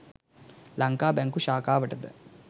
ලංකා බැංකු ශාඛාවට ද